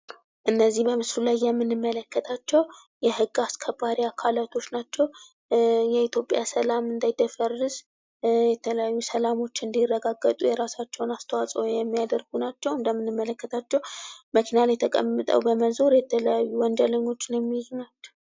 እነዚህ በምስሉ ላይ የምንመለከታቸው የሕግ አስከባሪ አካላቶች ናቸው። የኢትዮጵያ ሠላም እንዳይደፈርስ የተለያዩ ሰላሞች እንዲረግግጡ የራሳቸውን አስተዋፅኦ የሚያደርጉ ናቸው። እንደምንመለከታቸው መኪና ላይ ተቀምጠው በመዞር የተለያዩ ወንጀለኞችን የሚይዙ ናቸው።